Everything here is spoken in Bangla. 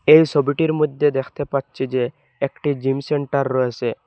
এই সবিটির মদ্যে দেখতে পাচ্ছি যে একটি জিম সেন্টার রয়েসে।